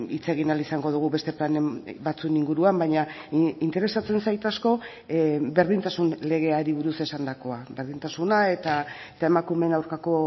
hitz egin ahal izango dugu beste plan batzuen inguruan baina interesatzen zait asko berdintasun legeari buruz esandakoa berdintasuna eta emakumeen aurkako